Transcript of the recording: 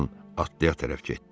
atlıya tərəf getdi.